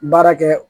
Baara kɛ